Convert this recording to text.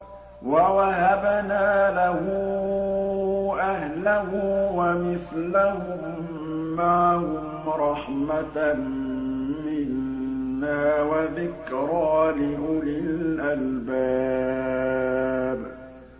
وَوَهَبْنَا لَهُ أَهْلَهُ وَمِثْلَهُم مَّعَهُمْ رَحْمَةً مِّنَّا وَذِكْرَىٰ لِأُولِي الْأَلْبَابِ